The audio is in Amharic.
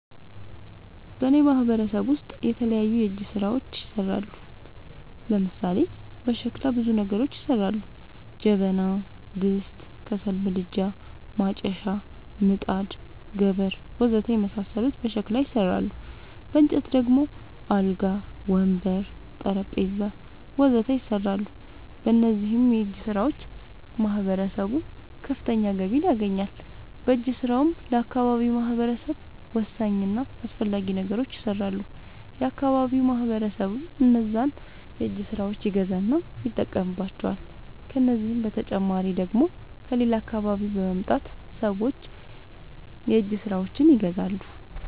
በእኔ ማህበረሰብ ውስጥ የተለያዩ የእጅ ስራዎች ይሠራሉ። ለምሳሌ፦ በሸክላ ብዙ ነገሮች ይሠራሉ። ጀበና፣ ድስት፣ ከሰል ምድጃ፣ ማጨሻ፣ ምጣድ፣ ገበር... ወዘተ የመሣሠሉት በሸክላ ይሠራሉ። በእንጨት ደግሞ አልጋ፣ ወንበር፣ ጠረንጴዛ..... ወዘተ ይሠራሉ። በእነዚህም የእጅስራዎች ማህበረሰቡ ከፍተኛ ገቢ ያገኛል። በእጅ ስራውም ለአካባቢው ማህበረሰብ ወሳኝ እና አስፈላጊ ነገሮች ይሠራሉ። የአካባቢው ማህበረሰብም እነዛን የእጅ ስራዎች ይገዛና ይጠቀምባቸዋል። ከዚህ በተጨማሪ ደግሞ ከሌላ አካባቢ በመምጣት ሠዎች የእጅ ስራዎቸችን ይገዛሉ።